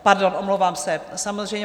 Pardon, omlouvám se, samozřejmě.